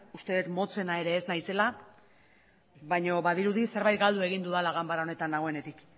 uste dut motzena ere ez naizela baina badirudi zerbait galdu egin dudala ganbara honetan nagoenetik